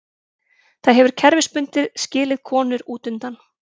Það hefur kerfisbundið skilið konur útundan.